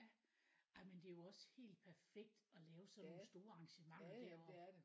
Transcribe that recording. Ej men det er jo også helt perfekt at lave sådan nogle store arrangementer deroppe